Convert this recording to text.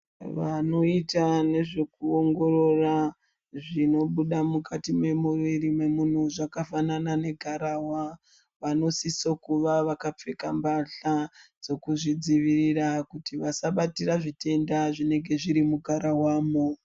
Vanoita nezvekuongorora zvinobuda mukati memuiri memunhu zvakafanana negararwa, vanosiso kuva vakapfeka mbahla dzekuzvidzivirira kuti vasabatira zvitenda zvinenge zviri mugararwamwo.